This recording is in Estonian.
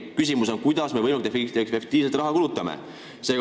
Küsimus on selles, kuidas me saaksime võimalikult efektiivselt raha kulutada.